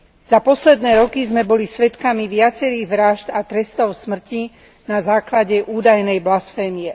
Za posledné roky sme boli svedkami viacerých vrážd a trestov smrti na základe údajnej blasfémie.